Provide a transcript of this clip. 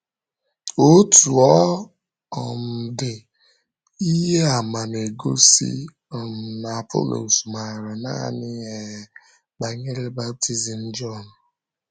Ótù ọ um dị, ihe àmà na-egosi um na Apọlọs ‘màrà naanị um banyere baptizim Jọn.’